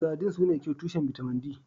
Sardines sune kyau tushen bitamin D.